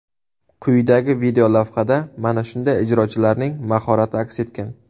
Quyidagi videolavhada mana shunday ijrochilarning mahorati aks etgan.